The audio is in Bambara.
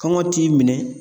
Kɔngɔ t'i minɛ